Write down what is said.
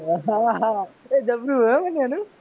હા હા જબરું હે મન્યા નઈ